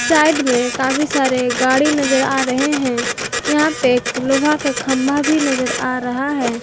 Side में काफी सारे गाड़ी नजर आ रहे हैं यहां पे एक लोहा का खंबा भी नजर आ रहा है।